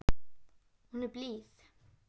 Hún er blíð.